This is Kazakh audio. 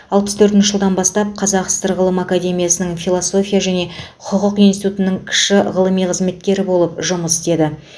алпыс төртінші жылдан бастап қазақ сср ғылым академиясының философия және құқық институтының кіші ғылыми қызметкері болып жұмыс істеді